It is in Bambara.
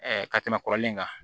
ka tɛmɛ kɔrɔlen in kan